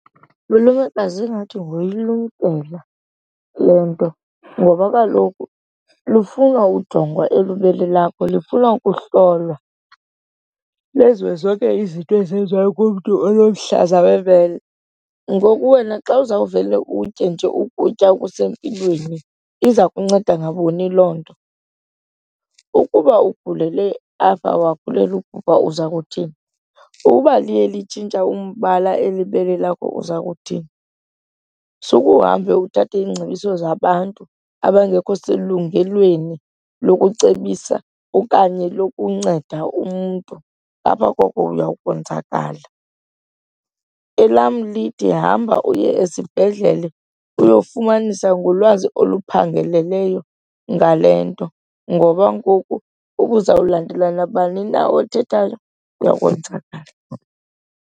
Lulekazi, ingathi ngokuyilumkela le nto ngoba kaloku lufuna ujongwa elibele lakho, lifuna ukuhlolwa lenziwe zonke izinto ezenziwayo kumntu onomhlaza webele. Ngoku wena xa uzawuvele utye nje ukutya okusempilweni iza kunceda ngabuni loo nto? Ukuba ugulele apha wagulela ubhubha uza kuthini? Uba liye litshintsha umbala eli bele lakho uza kuthini? Sukuhambe uthathe iingcebiso zabantu abangekho selungelweni lokucebisa okanye lokunceda umntu, ngapha koko uya konzakala. Elam lithi hamba uye esibhedlele uyofumanisa ngolwazi oluphangeleleyo ngale nto ngoba ngoku uba uzawulandela nabani na othethayo uyakonzakala.